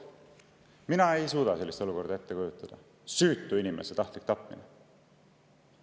Mina ei suuda sellist olukorda ette kujutada: süütu inimese tahtlik tapmine.